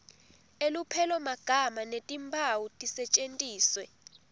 elupelomagama netimphawu tisetjentiswe